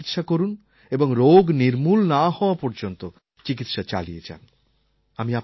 সঠিক চিকিৎসা করুন এবং রোগ নির্মূল না হওয়া পর্যন্ত চিকিৎসা চালিয়ে যান